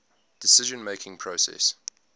decision making process